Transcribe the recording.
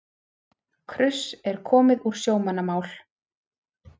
Kruss er komið úr sjómannamál.